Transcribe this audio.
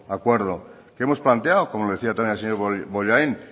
acuerdo hemos planteado como le decía también al señor bollain